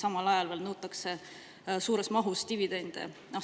Ning samal ajal veel nõutakse suures mahus dividende.